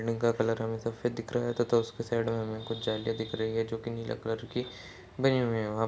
Building का colour हमें सफेद दिख रहा है। तथा उसके साइड में हमें कुछ जालियां दिख रही है जोकि नीले कलर की बनी हुई है और --